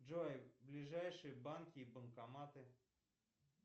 джой ближайшие банки и банкоматы